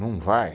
Não vai.